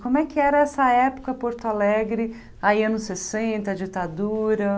Como é que era essa época Porto Alegre, aí anos sessenta, a ditadura?